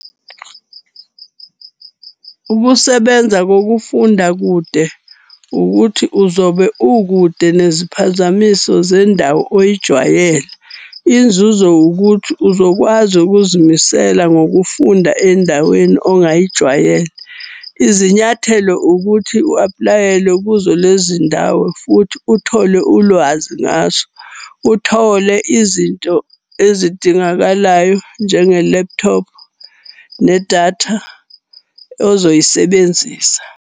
Ukusebenza kokufunda kude ukuthi uzobe ukude neziphazamiso zendawo oyijwayele. Inzuzo ukuthi uzokwazi ukuzimisela ngokufunda endaweni ongayijwayele. Izinyathelo ukuthi u-aplayele kuzo lezi ndawo futhi uthole ulwazi ngazo. Uthole izinto ezidingakalayo njenge-laptop nedatha ozoyisebenzisa.